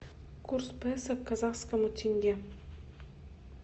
курс песо к казахскому тенге